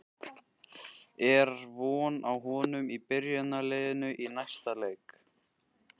Er von á honum í byrjunarliðinu í næsta leik?